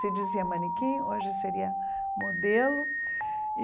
Se dizia manequim, hoje seria modelo e.